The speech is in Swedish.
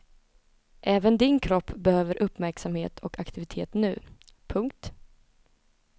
Även din kropp behöver uppmärksamhet och aktivitet nu. punkt